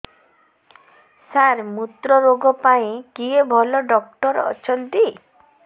ସାର ମୁତ୍ରରୋଗ ପାଇଁ କିଏ ଭଲ ଡକ୍ଟର ଅଛନ୍ତି